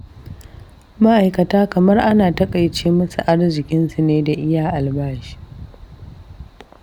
Ma'aikata kamar ana taƙaice musu arziƙinsu ne da iya albashi.